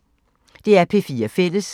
DR P4 Fælles